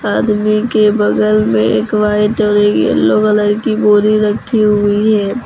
आदमी के बगल में एक वाइट और येलो कलर की बोरी रखी हुई है।